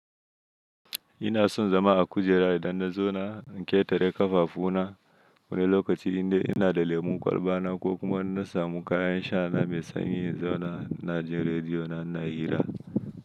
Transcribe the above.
Ina son zama a kujera idan na zauna, in ƙetare ƙafafu na, wani lokaci indai ina da lemun kwalba na ko kuma inna samu kayan sha na mai sanyi in zauna ina jin rediyo na ina hira.